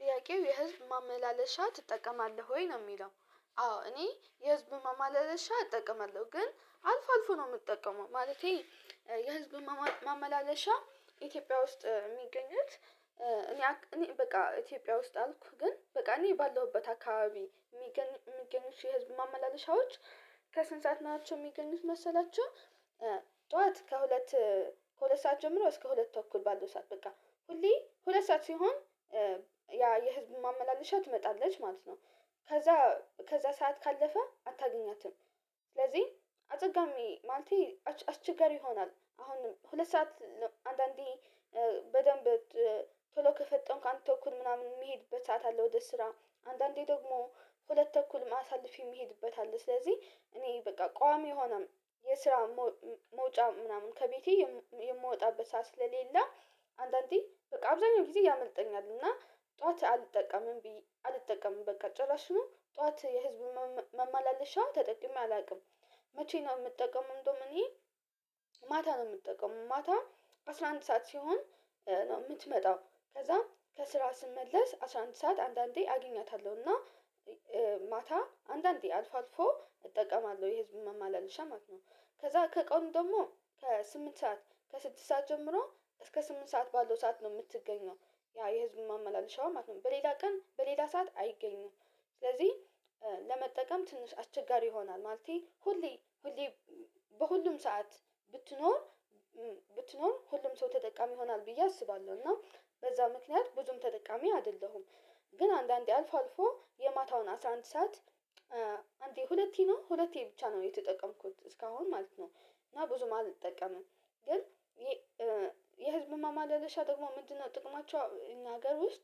ጥያቄው የህዝብ ማመላለሻ ትጠቀማለህ ወይ? ነው የሚለው አዎ እኔ የህዝብ ማመላለሻ እጠቀማለሁ ግን አልፎ አልፎ ነው የምጠቀመው ማለቴ የህዝብ ማመላለሻ ኢትዮጵያ ውስጥ የሚገኙት እኔ በቃ ኢትዮጵያ ውስጥ አልኩ ግን በቃ እኔ ባለሁበት አካባቢ የሚገኙት የህዝብ ማመላለሻዎች ከስንት ሰዓት ናቸው የሚገኙት መሰላቹ ከሁለት ሁለት ሰዓት ጀምሮ እስከ ሁለት ተኩል ባለው ሰዓት በቃ ሁሌ ሁለት ሰዓት ሲሆን ያ የህዝብ ማመላለሻ ትመጣለች ማለት ነው ከዛ ከዛ ሰዓት ካለፈ አታገኛትም ስለዚህ አጸጋሚ ማለቴ አስቸጋሪ ይሆናል አሁንም ሁለት ሰዓት አንዳንዴ በደንብ ቶሎ ከፈጠንክ አንድ ተኩል ምናምን የምሄድበት ሰዓት አለ ወደ ስራ አንዳንዴ ደግሞ ሁለት ተኩልም አሳልፌ የምሄድበት አለ ስለዚህ እኔ በቃ ቋሚ የሆነ የስራ መውጫ ምናምን ከቤቴ የምወጣበት ሰዓት ስለሌለ አንዳንዴ በቃ አብዛኛው ጊዜ ያመልጠኛል እና ጠዋት አልጠቀምም አልጠቀምም በቃ ጭራሽኑ ጠዋት የህዝብ መማለሻ ተጠቅሜ አላውቅም መቼ ነው የምጠቀመው እንደውም እኔ ማታ ነው የምጠቀመው ማታ አስራ አንድ ሰዓት ሲሆን ነው የምትመጣው ከዛ ከስራ ስመለስ አስራ አንድ ሰዓት አንዳንዴ አገኛታለሁና ማታ አንዳንዴ አልፎ አልፎ እጠቀማለሁ የህዝብ መመላለሻ ማለት ነው ከዛ ከቀኑ ደግሞ ከስምንት ሰዓት ከስድስት ሰዓት ጀምሮ እስከ ስምንት ሰዓት ባለው ሰዓት ነው የምትገኘው ያ የህዝብ ማመላለሻው ማለት ነው በሌላ ቀን በሌላ ሰዓት አይገኝም ስለዚህ ለመጠቀም ትንሽ አስቸጋሪ ይሆናል ማለቴ ሁሌ ሁሌ በሁሉም ሰዓት ብትኖር ብትኖር ሁሉም ሰው ተጠቃሚ ይሆናል ብዬ አስባለሁ እና በዛ ምክንያት ብዙም ተጠቃሚ አይደለሁም ግን አንዳንዴ አልፎ አልፎ የማታውን አስራ አንድ ሰዓት አንዴ ሁለቴ ነው ሁለቴ ብቻ ነው የተጠቀምኩት እስካሁን ማለት ነው እና ብዙም አልጠቀምም ግን የህዝብ ማመላለሻ ደግሞ ምንድነው ጥቅማቸው እኛ ሀገር ውስጥ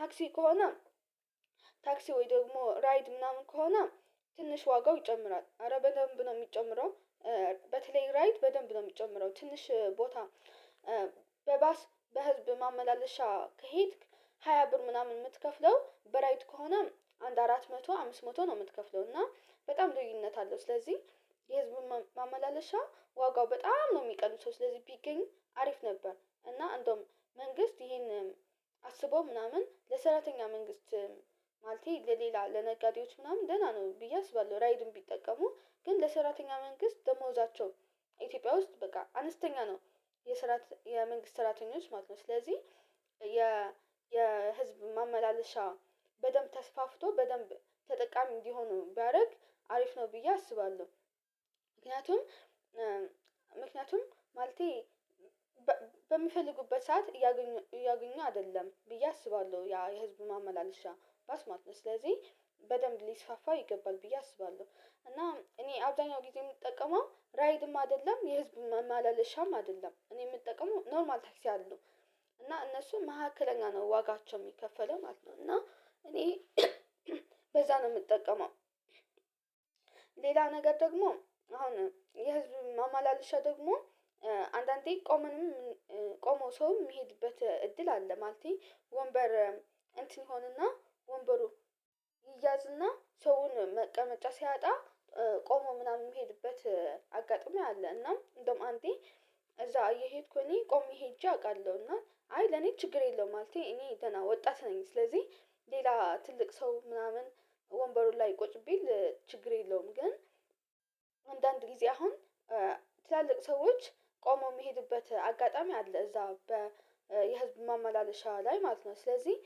ታክሲ ከሆነ ታክሲ ወይ ደግሞ ራይድ ምናምን ከሆነ ትንሽ ዋጋው ይጨምራል አረ በደንብ ነው የሚጨምረው በተለይ ራይድ በደንብ ነው የሚጨምረው ትንሽ ቦታ በባስ በህዝብ ማመላለሻ ከሄድክ ሃያ ብር ምናምን የምትከፍለው በራይድ ከሆነ አንድ አራት መቶ አምስት መቶ ነው የምትከፍለው እና በጣም ልዩነት አለው ስለዚህ የህዝብን ማመላለሻ ዋጋው በጣም ነው የሚቀንሰው ስለዚህ ቢገኙ አሪፍ ነበር እና እንደውም መንግስት ይሄን አስቦ ምናምን ለሰራተኛ መንግስት ማለቴ ለሌላ ለነጋዴዎች ምናምን ደህና ነው ብዬ አስባለሁ ራይድን ቢጠቀሙ ግን ለሰራተኛ መንግስት ደሞዛቸውን ኢትዮጵያ ውስጥ በቃ አነስተኛ ነው የመንግስት ሰራተኞች ማለት ነው ስለዚህ የ የህዝብ ማመላለሻ በደንብ ተስፋፍቶ በደንብ ተጠቃሚ እንዲሆን ቢያደርግ አሪፍ ነው ብዬ አስባለሁ ምክንያቱም ምክንያቱም ማለቴ በሚፈልጉበት ሰዓት እያገኙ አይደለም ብዬ አስባለሁ ያ የህዝብ ማመላለሻ ባስ ማለት ነው ስለዚህ በደንብ ሊስፋፋ ይገባል ብዬ አስባለሁ እና እኔ አብዛኛው ጊዜ የምጠቀመው ራይድም አይደለም የህዝብም ማመላለሻም አይደለም እኔ የምጠቀመው ኖርማል ታክሲ አሉ እና እነሱ መካከለኛ ነው ዋጋቸው የሚከፈለው ማለት ነው እና እኔ በዛ ነው የምጠቀመው ሌላ ነገር ደግሞ አሁን የህዝብ ማመላለሻ ደግሞ አንዳንዴ ቆመንም ቆመው ሰውም የሚሄድበት እድል አለ ማለቴ ወንበር እንትን ሆኖና ወንበሩ ይያዝና ሰውን መቀመጫ ሲያጣ ቆሞ ምናምን የሚሄድበት አጋጣሚ አለ እና እንደውም አንዴ እዛ እየሄድኩ እኔ ቆሜ ሄጄ አውቃለሁና አይ ለኔ ችግር የለውም ማለቴ እኔ ወጣት ነኝ ስለዚህ ሌላ ትልቅ ሰው ምናምን ወንበሩ ላይ ቁጭ ቢል ችግር የለውም ግን አንዳንድ ጊዜ አሁን ትላልቅ ሰዎች ቆመው የሚሄዱበት አጋጣሚ አለ እዛ የህዝብ ማመላለሻ ላይ ማለት ነው ስለዚህ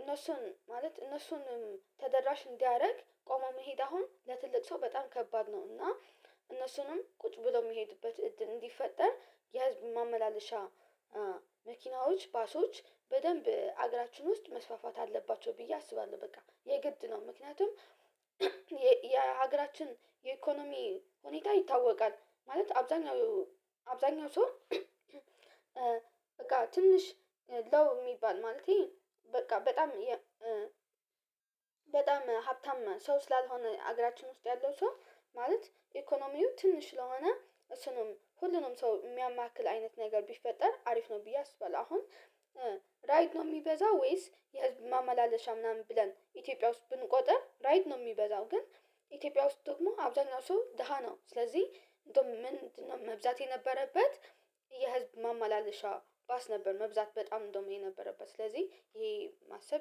እነሱን ማለት እነሱን ተደራሽ እንዲያደርግ ቆሞ መሄድ አሁን ለትልቅ ሰው በጣም ከባድ ነው እና እነሱንም ቁጭ ብለው የሚሄዱበት እድል እንዲፈጠር የህዝብ ማመላለሻ መኪናዎች ባሶች በደንብ አገራችን ውስጥ መስፋፋት አለባቸው ብዬ አስባለሁ በቃ የግድ ነው ምክንያቱም የሀገራችን የኢኮኖሚ ሁኔታ ይታወቃል ማለት አብዛኛው አብዛኛው ሰው በቃ ትንሽ ሎው የሚባል ማለቴ በቃ በጣም በጣም ሀብታም ሰው ስላልሆነ አገራችን ውስጥ ያለው ሰው ማለት ኢኮኖሚው ትንሽ ስለሆነ እሱንም ሁሉንም ሰው የሚያማክል አይነት ነገር ቢፈጠር አሪፍ ነው ብዬ አስባለው አሁን ራይድ ነው የሚበዛው ወይስ የህዝብ ማመላለሻ ምናምን ብለን ኢትዮጵያ ውስጥ ብንቆጥር ራይድ ነው የሚበዛው ግን ኢትዮጵያ ውስጥ ደግሞ አብዛኛው ሰው ደሃ ነው ስለዚህ እንደውም ምንድነው መብዛት የነበረበት የህዝብ ማመላለሻ ባስ ነበር መብዛት በጣም እንደውም የነበረበት ስለዚህ ይሄ ማሰብ